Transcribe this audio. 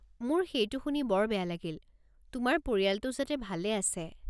মোৰ সেইটো শুনি বৰ বেয়া লাগিল, তোমাৰ পৰিয়ালটো যাতে ভালে আছে।